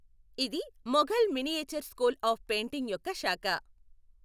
ఇది Mughal miniature school of painting యొక్క శాఖ.